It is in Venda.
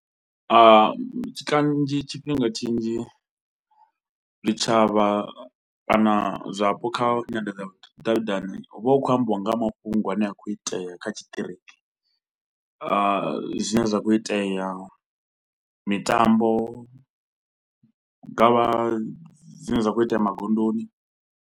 Kanzhi tshifhinga tshinzhi zwitshavha kana zwapo kha nyanḓadza ya vhudavhidzani hu vha hu khou ambiwa nga ha mafhungo ane a khou itea kha tshiṱiriki zwine zwa khou itea, mitambo, ngavha zwine zwa khou itea magondoni.